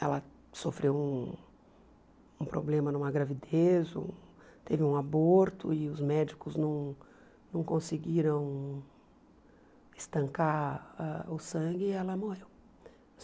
Ela sofreu um problema numa gravidez, um teve um aborto e os médicos não não conseguiram estancar ãh o sangue e ela morreu.